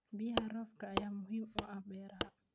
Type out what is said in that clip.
Biyaha roobka ayaa muhiim u ah beeraha.